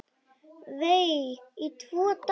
Vei, í tvo daga!